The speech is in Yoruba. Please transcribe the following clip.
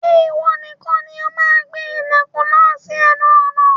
Ṣé ìwọ nìkan ni o máa gbé ilẹ̀kùn náà sí ẹnu ọ̀nà